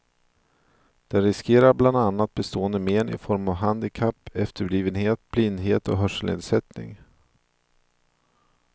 De riskerar bland annat bestående men i form av handikapp, efterblivenhet, blindhet och hörselnedsättning.